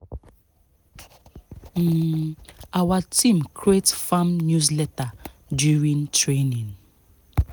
um our team create farm newsletter during training